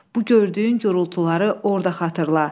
Bu gördüyün gurultuları orda xatırla.